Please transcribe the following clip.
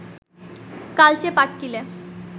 কালচে পাটকিলে